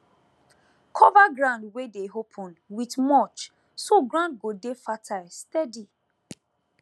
cover ground wey dey open with mulch so ground go dey fertile steady